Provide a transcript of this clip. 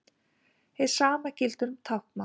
Hið sama gildir um táknmál.